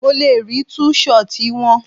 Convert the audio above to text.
Mo le rí tú ṣọtì wọn.